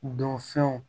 Don fɛnw